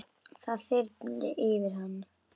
Það þyrmdi yfir hann.